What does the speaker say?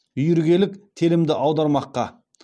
үйіргелік телімді аудармаққа